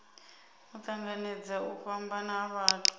tanganedza u fhambana ha vhathu